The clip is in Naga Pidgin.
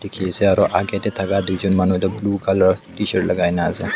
dikey ase aro ahkey tey thaka tuijon manu blue colour tshirt lai ka kena ase.